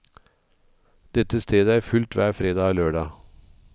Dette stedet er fullt hver fredag og lørdag.